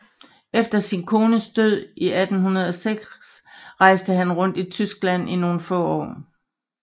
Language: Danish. Efter sin kones død i 1806 rejste han rundt i Tyskland i nogle få år